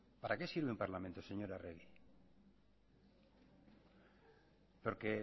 para qué sirve un parlamento señora arregi porque